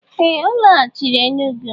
Ee! Ọ laghachiri Enugwu.